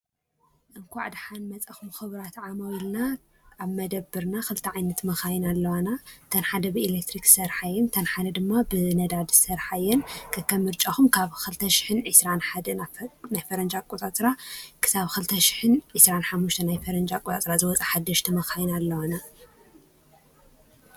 እንኳዕ ድሓን መፃኹም ኽብራት ዓማዊልና ኣብ መደበርና ኽልተ ዓይነት መኻይን ኣለዋና እተን ሓደ ብኤሌክትሪክ ዝሰርሓ እየን እተን ሓደ ድማ ብነዳድ ዝሰርሓ እየን ከከም ምርጫኩም ካብ ኸልተ ሽሕን ዒስራን ሓደን ፈረንጂ ኣቆፃፅራ ክሳብ ኸልተ ሽሕን ዒስራን ሓሙሽተን ናይ ፈረንጂ ኣቆፃፅራ ዝወፃ ሓደሽቲ መኻይን ኣለዋና።